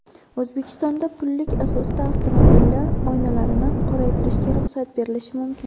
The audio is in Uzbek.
O‘zbekistonda pullik asosda avtomobillar oynalarini qoraytirishga ruxsat berilishi mumkin.